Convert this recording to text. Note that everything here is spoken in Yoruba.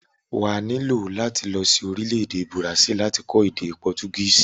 Wà á nílò láti lọ sí orílẹ̀-èdè bùràsílì láti kọ́ èdè pọtugísì.